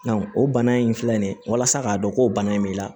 o bana in filɛ nin ye walasa k'a dɔn ko bana in b'i la